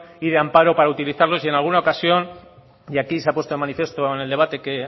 y de amparo para utilizarlos y en alguna ocasión y aquí se ha puesto de manifiesto en el debate que